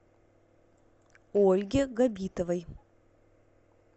ольге габитовой